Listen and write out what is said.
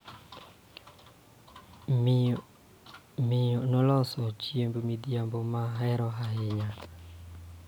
Miyo noloso chiemb midhiambo ma ahero ahinya